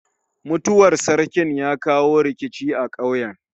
Mutuwar sarkin ya kawo rikici a ƙauyen.